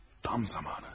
Tam zamanı.